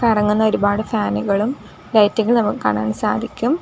കറങ്ങുന്ന ഒരുപാട് ഫാനുകളും ലൈറ്റുകൾ നമുക്ക് കാണാൻ സാധിക്കും.